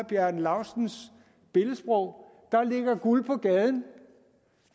bjarne laustsens billedsprog guld på gaden